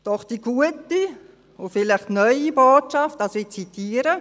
Doch die gute und vielleicht neue Botschaft – ich zitiere: